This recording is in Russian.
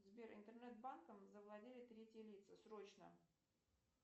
сбер интернет банком завладели третьи лица срочно